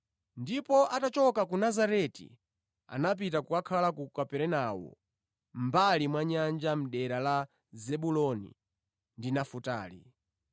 Ndipo atachoka ku Nazareti anapita ku Kaperenawo ndi kukhala mʼmbali mwa nyanja, mʼdera la Zebuloni ndi Nafutali;